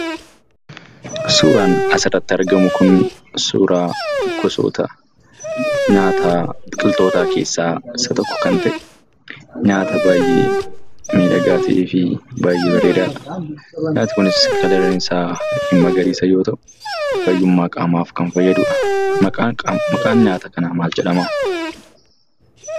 Suuraan asirratti argamu kuni suuraa gosoota nyaataa biqiltoota keessaa isa tokko kan ta'e nyaata baayyee miidhagaa ta'eefi baayyee bareedaadha. Nyaatni kunis halluun isaa magariisa yoo ta'u fayyummaa qaamaaf kan fayyadudha. Maqaan nyaata kanaa maalidha?